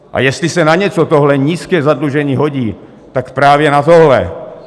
A jestli se na něco tohle nízké zadlužení hodí, tak právě na tohle.